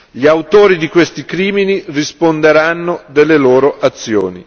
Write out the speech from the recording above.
Gli autori di questi crimini risponderanno delle loro azioni.